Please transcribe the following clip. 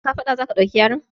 A kafaɗa za ka ɗauki yaron?